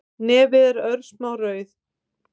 Nefið er örsmá rauð